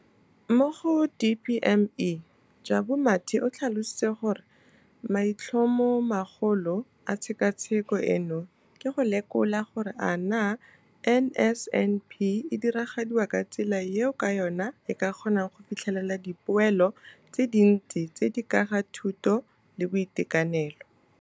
mo go DPME, Jabu Mathe, o tlhalositse gore maitlhomomagolo a tshekatsheko eno ke go lekola gore a naa NSNP e diragadiwa ka tsela eo ka yona e ka kgonang go fitlhelela dipoelo tse dintsi tse di ka ga thuto le boitekanelo